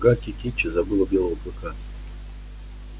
гаки кичи забыла белого клыка